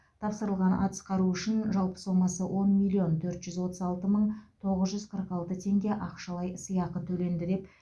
тапсырылған атыс қаруы үшін жалпы сомасы он миллион төрт жүз отыз алты мың тоғыз жүз қырық алты теңге ақшалай сыйақы төленді